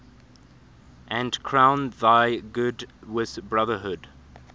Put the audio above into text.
and crown thy good with brotherhood